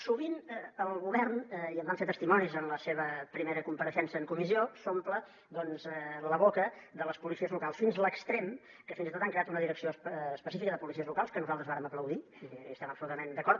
sovint el govern i en vam ser testimonis en la seva primera compareixença en comissió s’omple la boca de les policies locals fins a l’extrem que fins i tot han creat una direcció específica de policies locals que nosaltres vàrem aplaudir hi estem absolutament d’acord